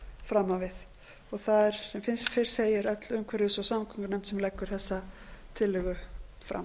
fram á við það er sem fyrr segir öll umhverfis og samgöngunefnd sem leggur þessa tillögu fram